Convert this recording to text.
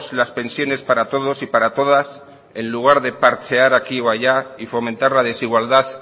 las pensiones para todos y para todas en lugar de parchear aquí o allá y fomentar la desigualdad